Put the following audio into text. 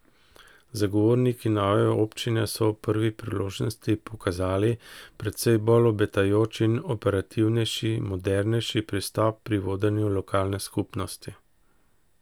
Zagovorniki nove občine so ob prvi priložnosti pokazali precej bolj obetajoč in operativnejši, modernejši pristop pri vodenju lokalne skupnosti.